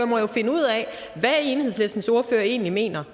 må jo finde ud af hvad enhedslistens ordfører egentlig mener